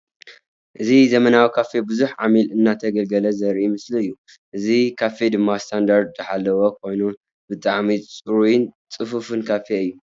እዚ ዘመናዊ ካፌ ቡዙሕ ዓሚል እንዳተገልገልለ ዘርኢ ምስሊ እዩ። እዚ ካፌ ድማ ስታንዳርዱ ዝሓለወ ኮይኑ ብጣዕሚ ፅሩይን ፅፉፉን ካፌ እዩ።